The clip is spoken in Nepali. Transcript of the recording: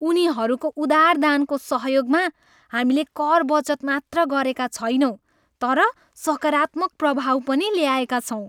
उनीहरूको उदार दानको सहयोगमा हामीले कर बचत मात्र गरेका छैनौँ तर सकारात्मक प्रभाव पनि ल्याएका छौँ!